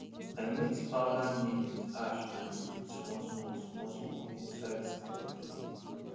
i mix powdered neem with ash and dey put smallsmall smallsmall inside seed container